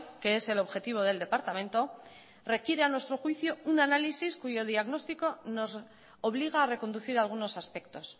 que es el objetivo del departamento requiere a nuestro juicio un análisis cuyo diagnóstico nos obliga a reconducir algunos aspectos